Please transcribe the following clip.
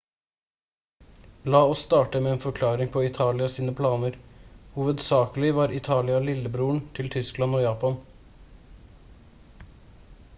la oss starte med en forklaring på italia sine planer. hovedsakelig var italia «lillebroren» til tyskland og japan